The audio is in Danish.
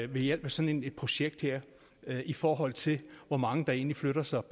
ved hjælp af sådan et projekt her i forhold til hvor mange der egentlig flytter sig